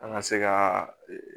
An ka se ka ee